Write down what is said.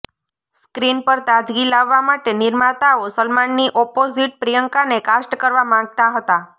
screen પર તાજગી લાવવા માટે નિર્માતાઓ સલમાનની ઓપોઝીટ પ્રિયંકાને કાસ્ટ કરવા માંગતા હતા